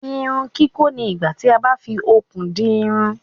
Irun kikọ ní igbà tí a bá fí okùn di irun.